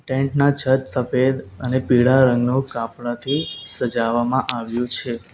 Tent ના છત સફેદ અને પીળા રંગનું કાપડાથી સજાવવામાં આવ્યું છે.